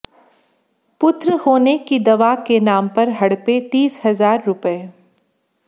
पुत्र होने की दवा के नाम पर हड़पे तीस हजार रुपये